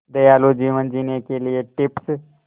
दयालु जीवन जीने के लिए टिप्स